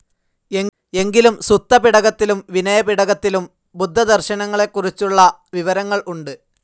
എങ്കിലും സുത്തപിടകത്തിലും വിനയപിടകത്തിലും, ബുദ്ധദർശനങ്ങളെക്കുറിച്ചുള്ള വിവരങ്ങൾ ഉണ്ട്.